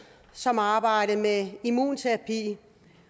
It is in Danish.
som arbejdede med immunterapi